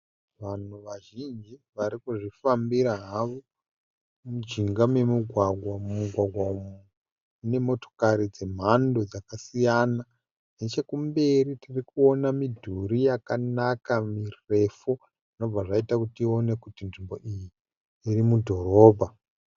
Vanhu vazhinji vari kuzvifambira havo mujinga memugwagwa. Mumugwagwa umu mune motokari dzemhando dzakasiyana. Nechekumberi tiri kuona midhuri yakanaka mirefu zvobva zvaita kuti tione kuti nzvimbo iyi iri mudhorobha.